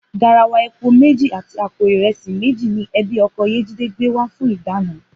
Garawa epo méjì àti àpò ìre̩sì méjì ni e̩bí o̩ko̩ Yéjídé gbé wá fún ìdána